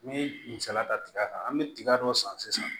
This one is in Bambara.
N'i ye misaliya ta tiga kan an bɛ tiga dɔ san sisan